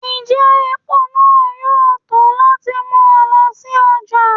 njẹ epo náá yọọ to lati mu ọ lọ si ọja?